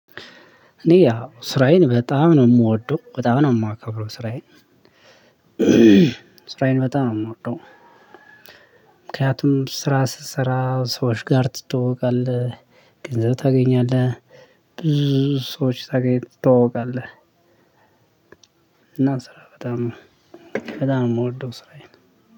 እኔ ያው ስራዬን በጣም ነው ምወደው በጣም ነው እማከብረው ስራዬን ስራዬን በጣም ነው ምወደው። ምክንያቱም ስራ ስትሰራ ሰዎች ጋር ትተዋውቃለህ። ገንዘብ ታገኛለህ። ብዙ ሰዎች ታገኝ ትተዋወቃለህ። እና ስራ በጣም በጣም ነው ምወደው ስራዬን